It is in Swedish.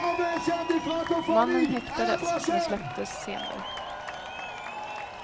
Mannen häktades, men släpptes senare.